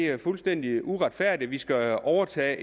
er fuldstændig uretfærdigt og at de skal overtage